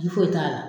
Ji foyi t'a la